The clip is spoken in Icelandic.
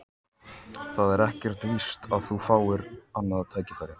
Það er ekkert víst að þú fáir annað tækifæri